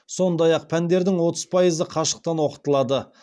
сондай ақ пәндердің отыз пайызы қашықтан оқытылады